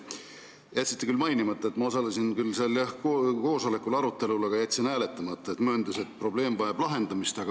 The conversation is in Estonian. Jätsite küll mainimata, et ma osalesin küll, jah, seal koosolekul, arutelul, aga jätsin hääletamata, mööndes, et probleem vajab lahendamist.